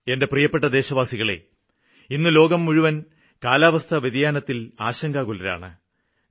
എന്റെ പ്രിയപ്പെട്ട ദേശവാസികളേ ഇന്ന് ലോകം മുഴുവനും കാലാവസ്ഥാവ്യതിയാനത്തില് ആശങ്കാകുലരാണ്